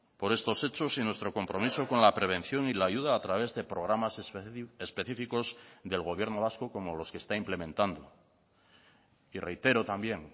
por estos hechos y nuestro compromiso con la prevención y la ayuda a través de programas específicos del gobierno vasco como los que está implementando y reitero también